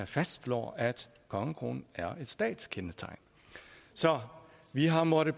faststlår at kongekronen er et statskendetegn så vi har måttet